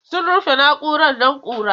Sun rufe na'urar don ƙura.